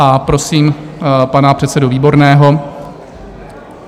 A prosím pana předsedu Výborného.